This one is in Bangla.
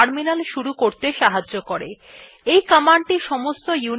এই command সমস্ত unix systems এ কাজ নাও করতে পারে